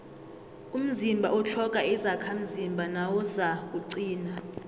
umzimba utlhoga izakhamzimba nawuzakuqina